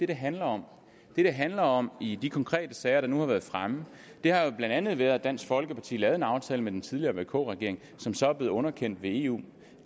det handler om det det handler om i de konkrete sager der nu har været fremme har jo blandt andet været at dansk folkeparti lavede en aftale med den tidligere vk regering som så er blevet underkendt ved eu